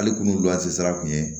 Ale kun loze sira kun ye